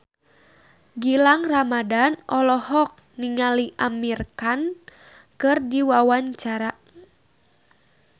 Gilang Ramadan olohok ningali Amir Khan keur diwawancara